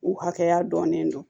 U hakɛya dɔnnen don